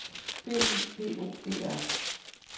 B Y B O E R